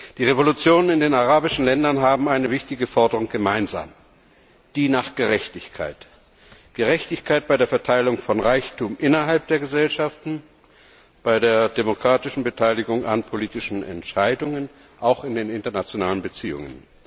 Die Revolutionen in den arabischen Ländern haben eine wichtige Forderung gemeinsam die nach Gerechtigkeit, und zwar Gerechtigkeit bei der Verteilung von Reichtum innerhalb der Gesellschaften und bei der demokratischen Beteiligung an politischen Entscheidungen auch in den internationalen Beziehungen.